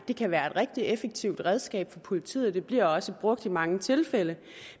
det kan være et rigtig effektivt redskab for politiet og det bliver også brugt i mange tilfælde